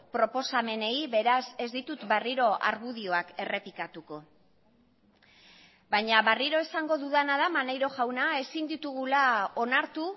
proposamenei beraz ez ditut berriro argudioak errepikatuko baina berriro esango dudana da maneiro jauna ezin ditugula onartu